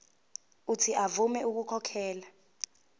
uuthi avume ukukhokhela